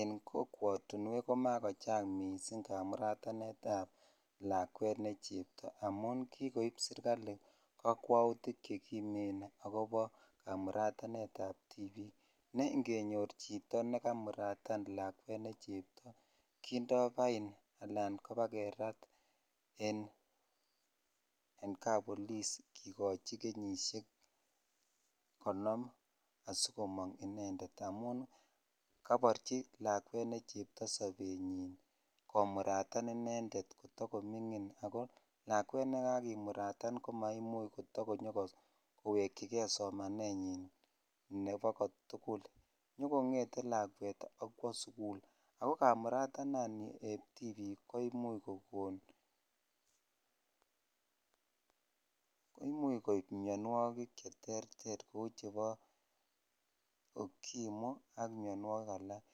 En kokwotinwek ko makochang mising kamuratanetab lakwet nee chepto amun kikoib serikali kokwoutik chekimen kobo kamuratanetab tibik nee ng'enyor chito nee kamuratan chepto kindo bain alan ibakerat en kapolis kikochi kenyishek konom asikomong inendet amun koborchi lakwet nee chepto sobenyin komuratan inendet tokomingin ak ko lakwet nekakimuratan ko maimuch koto konyo kowekyike somanenyin nebo kotukul nyokong'ete lakwat ak kwoo sukul, ak ko kamuratanani eb tibik koimuch kokon, imuch koib mionwokik cheterter kouu chebo ukimwi ak mionwokik alak,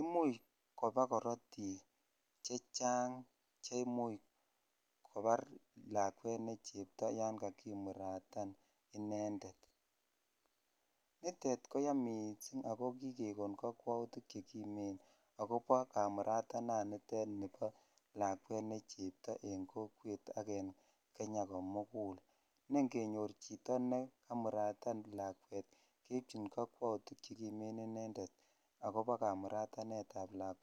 imuch kobaa korotik chechang cheimuch kobar lakwet nee chepto yoon kakimuratan iendet, nitet koyomech ak ko kikekon kokwoutik chekimen akobo kamuratanet nitet nibo lakwet nee chepto en kokwet ak en Kenya komkul nee ngenyor chito nekamuratan lakwet keibchin kokwoutik chekimen inendet akobo kamuratanetab lakwet.